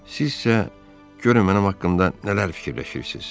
Siz isə görün mənim haqqımda nələr fikirləşirsiz.